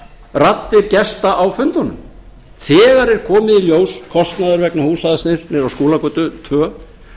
raddir gesta á fundunum þegar er komið í ljós kostnaður vegna húsnæðisins niðri á skúlagötu tvö